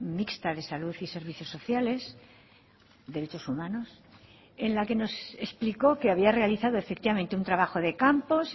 mixta de salud y servicios sociales derechos humanos en la que nos explicó que había realizado efectivamente un trabajo de campo